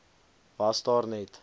was daar net